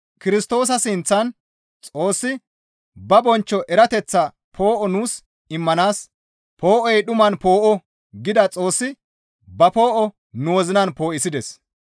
Kirstoosa sinththan Xoossi ba bonchcho erateththa poo7o nuus immanaas, «Poo7oy dhuman poo7o» gida Xoossi ba poo7o nu wozinan poo7isides.